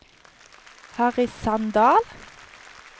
Harry Sandal